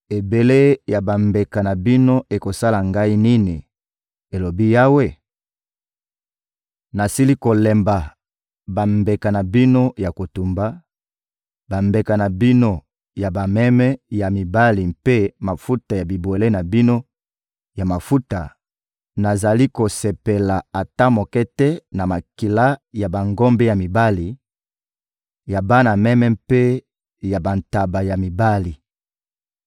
«Ebele ya bambeka na bino ekosala Ngai nini,» elobi Yawe? «Nasili kolemba bambeka na bino ya kotumba, bambeka na bino ya bameme ya mibali mpe mafuta ya bibwele na bino ya mafuta; nazali kosepela ata moke te na makila ya bangombe ya mibali, ya bana meme mpe ya bantaba ya mibali.